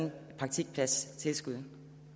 et praktikpladstilskud